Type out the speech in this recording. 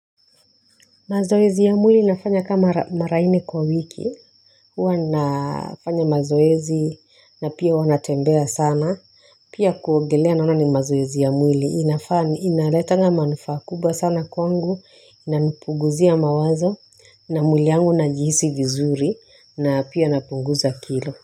Mazoezi ya mwili nafanya kama mara nne kwa wiki. Huwa nafanya mazoezi na pia hua natembea sana. Pia kuogelea naona ni mazoezi ya mwili. Inafanya, inaletanga manufaa kubwa sana kwangu. Inanpunguzia mawazo. Na mwili yangu najihisi vizuri. Na pia napunguza kilo.